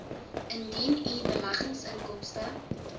indien u beleggingsinkomste